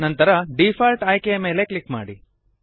ನಂತರ ಡಿಫಾಲ್ಟ್ ಆಯ್ಕೆಯ ಮೇಲೆ ಕ್ಲಿಕ್ ಮಾಡಿ